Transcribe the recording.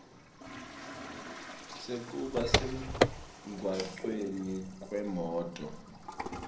sekuba semgwacweni kwemoti